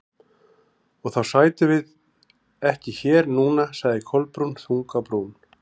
Og þá sætum við ekki hér núna- sagði Kolbrún, þung á brún.